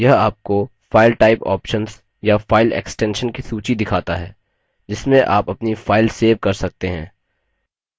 यह आपको file type options या file extensions की सूची दिखाता है जिसमें आप अपनी file सेव कर सकते हैं